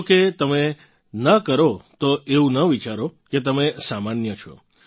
જો કે તમે ન કરો તો એવું ન વિચારો કે તમે સામાન્ય છો